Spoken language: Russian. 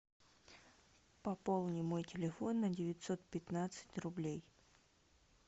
пополни мой телефон на девятьсот пятнадцать рублей